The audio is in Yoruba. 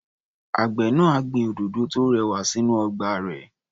Àgbẹ̀ náà á gbin òdòdó tó rẹwà sínú ọgbà rẹ̀.